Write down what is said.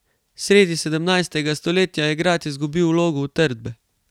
Sredi sedemnajstega stoletja je grad izgubil vlogo utrdbe.